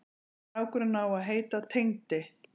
Strákurinn á að heita Tengdi.